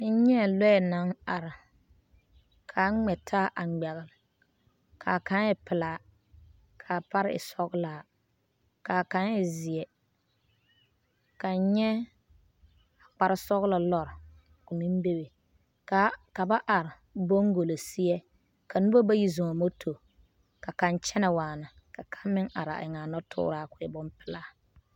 N nyɛɛ lɔɛ naŋ are, kaa ŋmɛ taa a ŋmɛgele. Kaa kaŋ e pelaa, kaa pare e sɔgelaa, kaa kaŋ e zeɛ. K’N nyɛ a kparesɔgelɔ lɔr ko meŋ bebe kaa ka ba are boŋgolo seɛ, ka nobɔ bayi zɔŋ moto, ka kaŋ kyɛnɛ waana ka kaŋ meŋ are a eŋaa nɔtooraa ko e bompelaa.